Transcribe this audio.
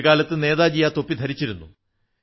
ഒരു കാലത്ത് നേതാജി ആ തൊപ്പി ധരിച്ചിരുന്നു